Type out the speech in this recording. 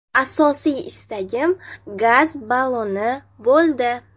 Asosiy istagim gaz balloni bo‘ldi.